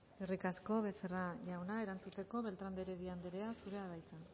eskerrik asko becerra jauna erantzuteko beltrán de heredia anderea zurea da hitza